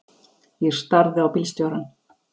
Ég starði á bílstjórann.